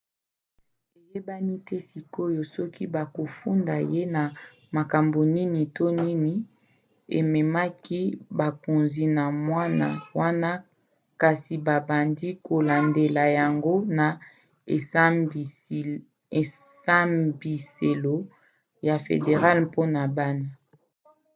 eyebani te sikoyo soki bakofunda ye na makambo nini to nini ememaki bakonzi na mwana wana kasi babandi kolandandela yango na esambiselo ya federale mpona bana